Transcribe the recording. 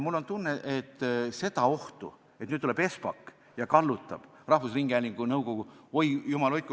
Mul on tunne, et seda ohtu, et nüüd tuleb Espak ja kallutab rahvusringhäälingu nõukogu – oi, jumal hoidku!